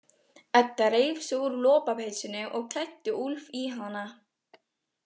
Edda reif sig úr lopapeysunni og klæddi Úlf í hana.